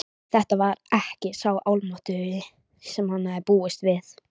Þetta var ekki sá Almáttugi sem hann hafði búist við.